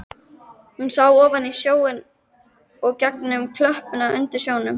Hún sá ofan í sjóinn og gegnum klöppina undir sjónum.